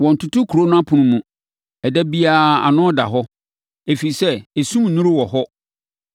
Wɔntoto kuro no apono mu. Ɛda biara ano da hɔ. Ɛfiri sɛ, esum nnuru wɔ hɔ.